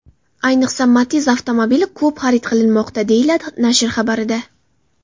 Ayniqsa, Matiz avtomobili ko‘p xarid qilinmoqda”, deyiladi nashr xabarida.